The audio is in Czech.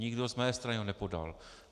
Nikdo z mé strany ho nepodal.